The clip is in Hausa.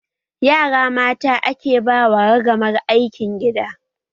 Yara mata ake ba wa ragamar aikin gida